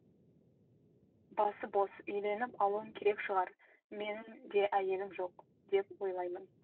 басы бос үйленіп алуым керек шығар менің де әйелім жоқ деп ойлаймын